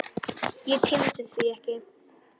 Ég tímdi því ekki.